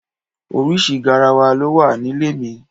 Oríṣi garawa ló wà nílé mi.